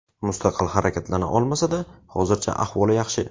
Mustaqil harakatlana olmasa-da, hozircha ahvoli yaxshi.